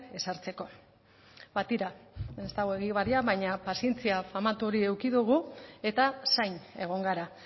ezartzeko ba tira ez dago egibar baina pazientzia famatu hori eduki dugu eta zain egon gara